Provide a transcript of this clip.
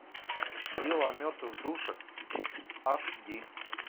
дело о мертвых душах аш ди